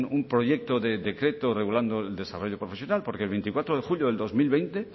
un proyecto de decreto regulando el desarrollo profesional porque el veinticuatro de julio de dos mil veinte